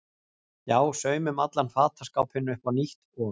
Já, saumum allan fataskápinn upp á nýtt og.